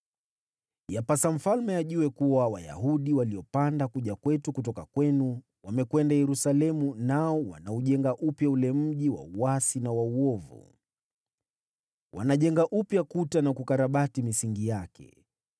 Yapasa Mfalme ajue kuwa Wayahudi waliopanda kuja kwetu kutoka kwenu, wamekwenda Yerusalemu nao wanaujenga upya ule mji wa uasi na uovu. Wanajenga kuta upya na kukarabati misingi yake.